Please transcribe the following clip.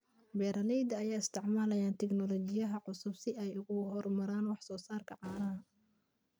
Beeralayda ayaa isticmaalaya tignoolajiyada cusub si ay u horumariyaan wax soo saarka caanaha.